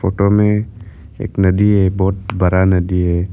Photo में एक नदी है बहुत बड़ा नदी है।